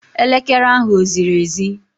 Elekere ahu eziri ezi?